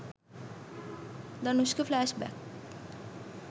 danushka flash back